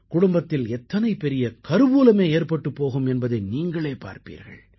குடும்பத்தில் எத்தனை பெரிய கருவூலமே ஏற்பட்டுப் போகும் என்பதை நீங்களே பார்ப்பீர்கள்